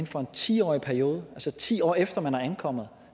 for en ti årig periode altså ti år efter man er ankommet